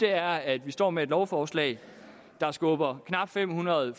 er at vi står med et lovforslag der skubber knap fem hundrede